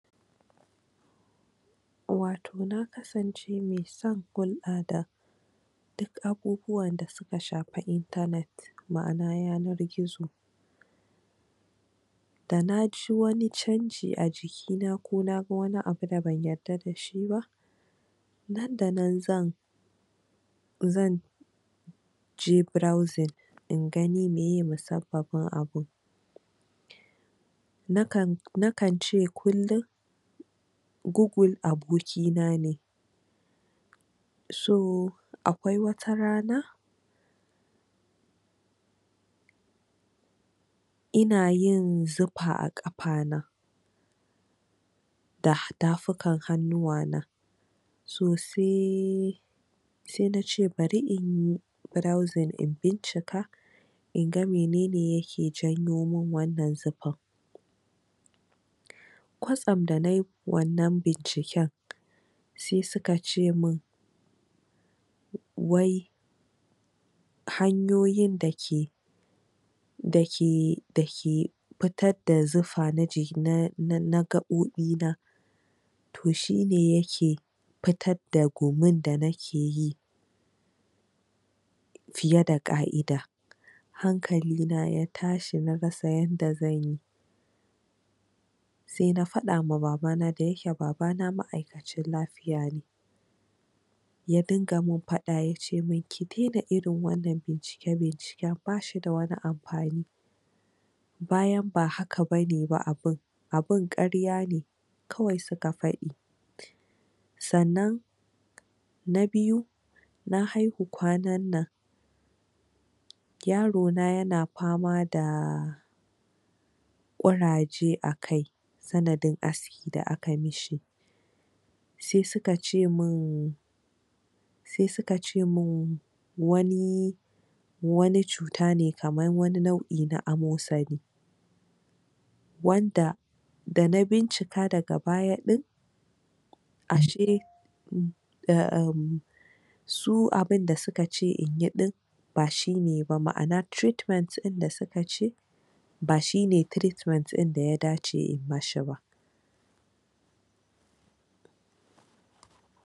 Wato na kasance mai son Google a da, duk abubuwanda su ka shafi internet ma'ana yanar-gizo da na ji wani canji a jikina ko na ga wani abu da ban yarda da shi ba nan da nan zan zan je browsing in gani miye musabbabin abun, nakan... nakan ce kullum Google abokina ne, so..... akwai wata rana ina yin zufa a ƙafana da tafukan hannuwana so sai....... sai na ce bari inyi browsing in bincika inga minene ya ke janyo min wannan zufan, kwatsam da na yi wannan binciken sai su ka ce min wai hanyoyin da ke da ke...da ke...... fitar da zufa na jiki....na gaɓoɓina to shine ya ke fitar da gumin da ni ke yi fiye da ƙa'ida, hankalina ya tashi na rasa yadda zanyi, sai na faɗama babana, dayake babana ma'aikacin lafiya ne, ya dinga min faɗa ya ce min ki daina irin wannan bincike-binciken ba shi da wani amfani, bayan ba haka ba ne ba abun abun ƙarya ne kawai su ka faɗi, sannan na biyu: Na haihu kwanannan yarona ya na fama da ƙuraje a kai sanadin aski da aka yi ma shi, sai su ka ce min sai su ka ce min wani.... wani cuta ne kamar wani nau'i na amosani wanda da na bincika daga baya ɗin ashe su abunda su ka ce inyi ɗin ba shi ne ba, ma'ana treatment ɗin da su ka ce ba shine treatment ɗin da ya dace inyi ma shi ba.